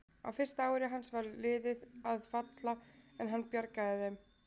Á fyrsta ári hans var liðið að falla en hann bjargaði þeim.